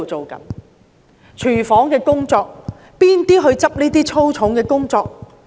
例如廚房工作，是誰做這些粗重的工作？